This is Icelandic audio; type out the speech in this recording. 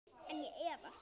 En ég efast.